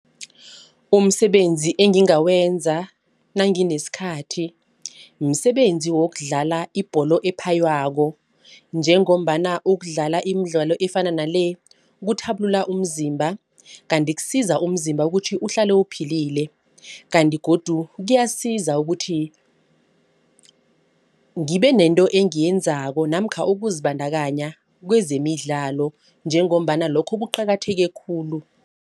Umsebenzi engingawenza nanginesikhathi msebenzi wokudlala ibholo ephaywako. Njengombana ukudlala imidlalo efana nale kuthabulula umzimba. Kanti kusiza umzimba ukuthi uhlale uphilile. Kanti godu kuyasiza ukuthi ngibe nento engiyenzako namkha ukuzibandakanya kwezemidlalo njengombana lokho kuqakatheke khulu.